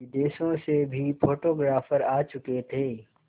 विदेशों से भी फोटोग्राफर आ चुके थे